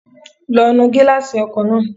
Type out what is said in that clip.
Lọ nu gíláàsì ọkọ̀ náà